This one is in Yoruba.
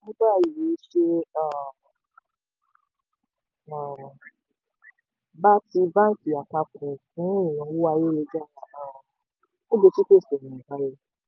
báwo ni èròǹgbà yín ṣe um bá ti banki apapo fun ìnáwó ayélu-jára? um ogechi pese ọ̀nà àbáyọ